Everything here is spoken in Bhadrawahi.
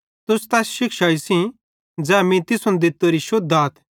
तुस तैस शिक्षाई सेइं ज़ै मीं तुसन दित्तोरीए शुद्ध आथ